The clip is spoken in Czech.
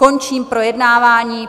Končím projednávání.